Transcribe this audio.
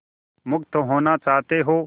मुक्त होना चाहते हो